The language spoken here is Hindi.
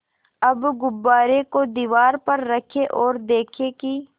अब गुब्बारे को दीवार पर रखें ओर देखें कि